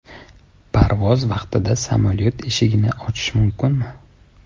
Parvoz vaqtida samolyot eshigini ochish mumkinmi?.